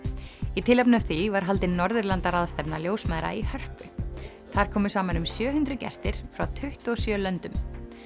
í tilefni af því var haldin ljósmæðra í Hörpu þar komu saman um sjö hundruð gestir frá tuttugu og sjö löndum